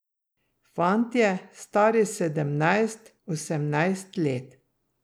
Fantje, stari sedemnajst, osemnajst let.